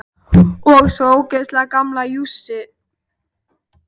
Og svona líka ógeðslega gamla jússu.